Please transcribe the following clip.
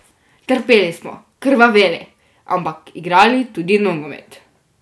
Trpeli smo, krvaveli, ampak igrali tudi nogomet.